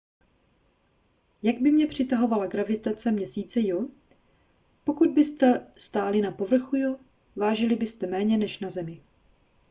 jak by mě přitahovala gravitace měsíce io pokud byste stáli na povrchu io vážili byste méně než na zemi